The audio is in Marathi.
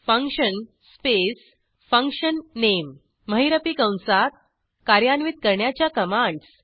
फंक्शन स्पेस फंक्शन अंडरस्कोर नामे महिरपी कंसात कार्यान्वित करण्याच्या कमांडस